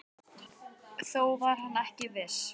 Þó var hann ekki viss.